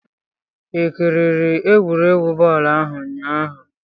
i kiriri egwuregwu bọọlụ ahụ ụnyahụ?